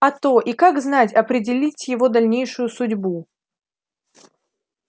а то и как знать определить его дальнейшую судьбу